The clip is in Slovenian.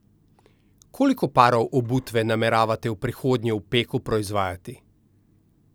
Koliko parov obutve nameravate v prihodnje v Peku proizvajati?